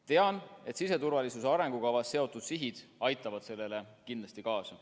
Tean, et siseturvalisuse arengukavas seatud sihid aitavad sellele kindlasti kaasa.